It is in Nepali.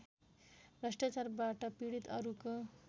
भ्रष्टाचारबाट पीडित अरूको